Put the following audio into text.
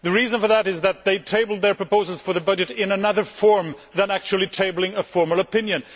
The reason for that is that they tabled their proposals for the budget in another form, rather than actually tabling a formal opinion.